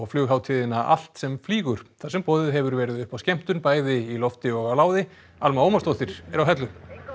flughátíðina allt sem flýgur þar sem boðið hefur verið upp á skemmtun bæði í lofti og á láði Alma Ómarsdóttir er á Hellu